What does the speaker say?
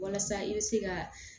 Walasa i bɛ se ka